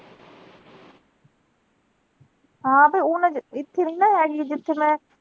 ਹਾਂ ਤੇ ਓਹਨਾ ਚ ਇਥੇ ਨਹੀਂ ਨਾ ਹੈਗੀ ਜਿਥੇ ਮੈਂ।